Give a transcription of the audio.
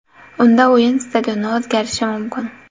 Unda o‘yin stadioni o‘zgarishi mumkin.